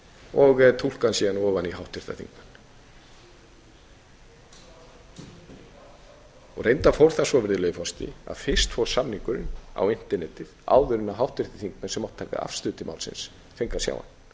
og túlka hann síðan ofan í háttvirta þingmenn reyndar fór það svo virðulegi forseti að fyrst fór samningurinn á internetið áður en háttvirtir þingmenn sem áttu að taka afstöðu til málsins fengu að sjá